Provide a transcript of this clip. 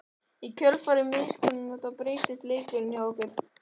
Í kjölfar misnotkunarinnar breyttust leikirnir hjá okkur.